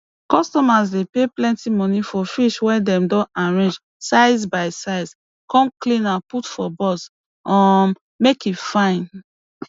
customers dey pay plenty money for fish wey dem don arrange size by size come clean am put for box um make e fine